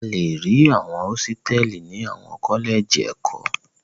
A le rí àwọn hósítẹ́ẹ́lì ní àwọn kọ́lẹ́jì ẹ̀kọ́.